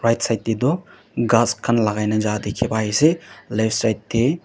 right side te tu gass khan lagai na ja dekhi pai ase left side te--